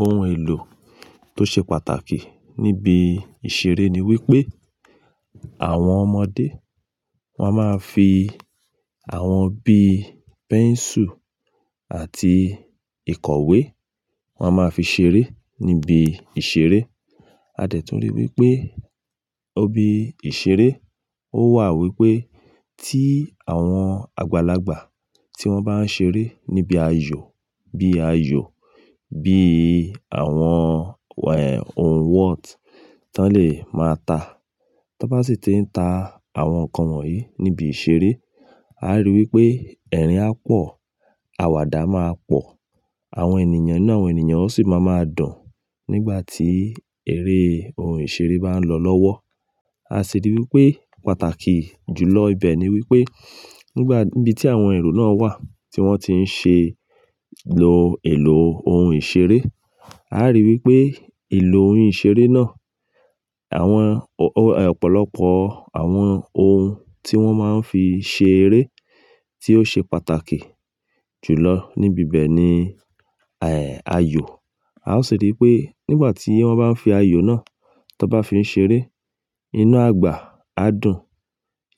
Ohun èlò tó ṣe pàtàkì níbi ìṣeré ni wípé àwọn ọmọdé, wón máa ń fi àwọn bíi pencil àti ìkọ̀wé, wọ́n máa ń fi ṣeré níbi ìṣeré. A dẹ̀ tún rí i wípé ibi ìṣeré ó wà wípé tí àwọn àgbàlagbà tí wọ́n bá ń ṣeré níbi ayò, bí ayò, bí àwọn, ohun whot tán lè máa ta. Tí wọ́n bá sì ti ń ta àwọn nǹkan wọ̀nyí níbi ìṣeré, a rí i wípé ẹ̀rín á pọ̀, àwàdà máa pọ̀, àwọn ènìyàn ínú àwọn ènìyàn ó sì máa máa dùn nígbà tí eré ohun ìṣeré bá ń lọ lọ́wọ́. A sì rí i wípé pàtàkì jù lọ ibẹ̀ ni wípé nígbà, níbi tí àwọn èrò náà wà tí wọ́n ti ń ṣe lo èlò ohun ìṣeré, a rí i wípé ìlò ohun ìṣeré náà, àwọn ọ̀pọ̀lọpọ̀ àwọn ohun tí wọ́n máa ń fi ṣe eré tí ó ṣe pàtàkì jù lọ níbi ibẹ̀ ni, ayò. A ó sì rí i pé nígbà tí wọ́n bá ń fi ayò náà tón bá fi ń ṣeré, inú àgbà á dùn.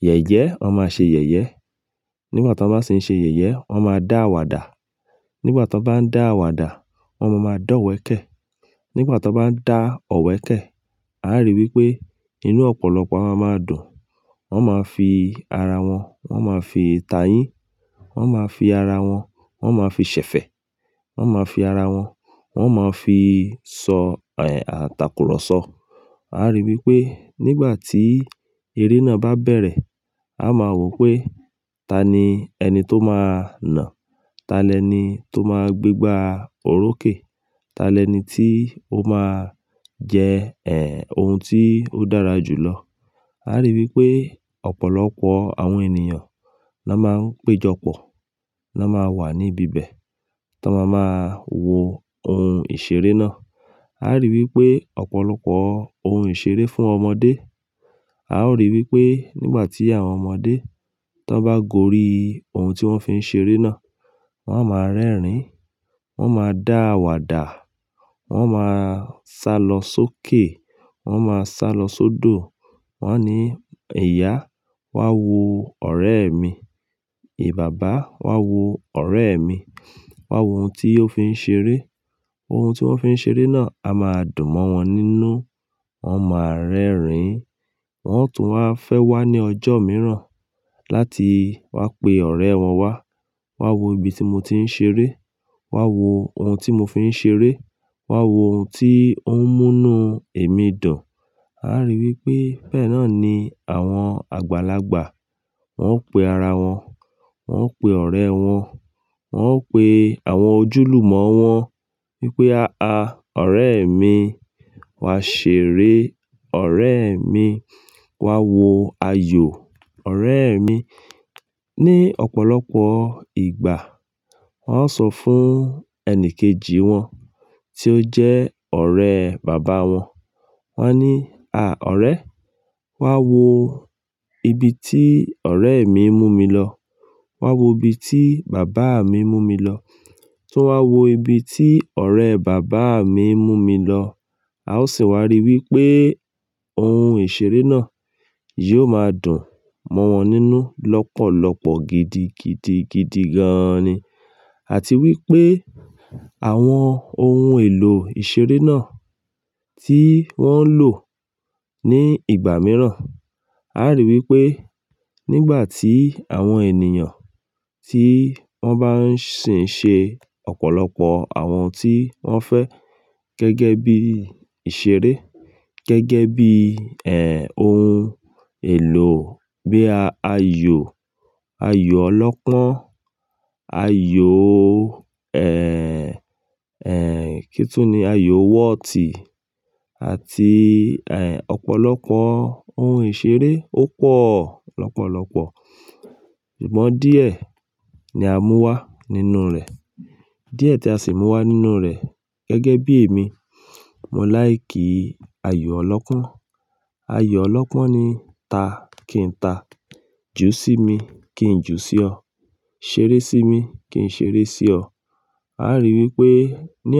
Yẹ̀yẹ́, wọ́n máa ṣe yẹ̀yẹ́. Nígbà tí wọ́n bá sì ń ṣe yẹ̀yẹ́, wọ́n máa dá àwàdà. Nígbà tí wọ́n bá ń dá àwàdà, wọ́n máa máa dọ̀wẹ̀kẹ́. Nígbà tí wọ́n bá ń dá ọ̀wẹ̀kẹ́, a rí i wípé inú ọ̀pọ̀lọpọ̀ a máa ma dùn. Wọ́n máa fi ara wọn, wọ́n máa fi tà yín, wọ́n máa fi ara wọn, wọ́n máa fi ṣẹ̀fẹ̀, wọ́n máa fi ara wọn, wọ́n máa fi sọ àtakùrọ̀sọ. A rí i wípé nígbà tí eré náà bá bẹ̀rẹ̀, a máa wò pé ta ni ẹni tó máa nà, ta lẹni tó máa gbé gbá orókè, ta lẹni tí ó máa jẹ, ohun tí ó dára jù lọ. A rí i wípé ọ̀pọ̀lọpọ̀ àwọn ènìyàn lón máa ń péjọpọ̀, ló máa wà níbi ibẹ̀ tón máa máa wo ohun ìṣeré náà. A rí i wípé ọ̀pọ̀lọpọ̀ ohun ìṣeré fún ọmọdé. A ó rí i wípé nígbà tí àwọn ọmọdé tón bá gorí ohun tí wọ́n fi ń ṣeré náà, wọ́n á máa rẹ́rìn-ín, wọ́n máa dá àwàdà, wọ́n máa sálọ sókè, wọ́n máa sálọ sódò. Wọ́n á ní, "Ìyá, wá wo ọ̀rẹ́ mi. E, bàbá, wá wo ọ̀rẹ́ mi. Wá wo ohun tí ó fi ń ṣeré." Ohun tí wọ́n fi ń ṣeré náà á máa dùn mọ́ wọn nínú, wọ́n máa rẹ́rìn-ín. Wọ́n tún a fẹ́ wá ní ọjọ́ mìíràn láti wá pe ọ̀rẹ́ wọn wá. "Wá wo ibi tí mo ti ń ṣeré. Wá wo ohun tí mo fi ń ṣeré. Wá wo ohun tí ó ń mú inú èmi dùn." A rí i wípé bẹ́ẹ̀ náà ni àwọn àgbàlagbà, wọ́n ó pe ara wọn, wọ́n ó pe ọ̀rẹ́ wọn, wọ́n ó pe àwọn ojúlùmọ̀ wọn wípé, "À, ọ̀rẹ́ mi, wá ṣeré, ọ̀rẹ́ mi. Wá wo ayò, ọ̀rẹ́ mi." Ní ọ̀pọ̀lọpọ̀ ìgbà wọ́n ó sọ fún ẹni kejì wọn tí ó jẹ́ ọ̀rẹ́ bàbá wọn. Wọ́n á ní, "À, ọ̀rẹ́, wá wo ibi tí ọ̀rẹ́ mi ń mú mi lọ. Wá wo ibi tí bàbá mi ń mú mi lọ. Tún wá wo ibi tí ọ̀rẹ́ bàbá mi ń mú mi lọ." A ó sì wá rí i wípé ohun ìṣeré náà yóò máa dùn mọ́ wọn nínú lọ́pọ̀lọpọ̀ gidi, gidi, gidi gan-an ni. Àti wípé àwọn ohun èlò ìṣeré náà tí wọ́n ń lò ní ìgbà mìíràn, a rí i wípé nígbà tí àwọn ènìyàn tí wọ́n bá ń sì ń ṣe ọ̀pọ̀lọpọ̀ àwọn tí wọ́n fẹ́ gẹ́gẹ́ bí ìṣeré, gẹ́gẹ́ bí, ohun èlò bíi, a, ayò, ayò ọlọ́pọ́n, ayò, ẹ́, kíni tún ni? Ayò wọ́ọ̀tì àti ọ̀pọ̀lọpọ̀ ohun ìṣeré ó pọ̀ lọ́pọ̀lọpọ̀. Ṣùgbọ́n díẹ̀ ni a mú wá nínú rẹ̀. Díẹ̀ tí a sì mú wá nínú rẹ̀ gẹ́gẹ́ bí èmi, mo like ayò ọlọ́pọ́n. Ayò ọlọ́pọ́n ni ta kí ń ta, ju sí mi kí ń ju sí ọ, ṣeré sí mi kí ń ṣeré sí ọ. A rí i wípé ní ọ̀